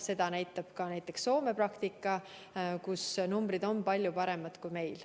Seda näitab ka näiteks Soome praktika, seal on numbrid palju paremad kui meil.